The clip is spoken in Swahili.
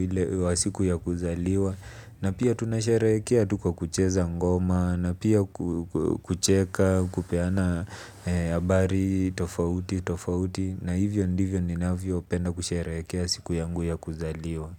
ile wa siku ya kuzaliwa. Na pia tunasherehekea tu kwa kucheza ngoma. Na pia kucheka. Kupeana habari tofauti tofauti na hivyo ndivyo ninavyo penda kusherehekea siku yangu ya kuzaliwa.